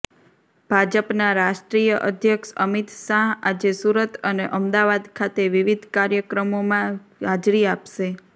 ભાજપના રાષ્ટ્રીય અધ્યક્ષ અમિત શાહ આજે સુરત અને અમદાવાદ ખાતે વિવિધ કાર્યકર્મોમાં હાજરી આપશે